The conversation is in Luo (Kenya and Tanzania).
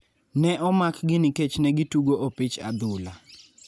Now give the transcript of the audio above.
Ne omakgi nikech ne gitugo opich adhula.